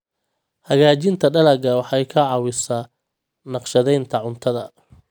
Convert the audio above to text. Hagaajinta dalagga waxay ka caawisaa naqshadaynta cuntada.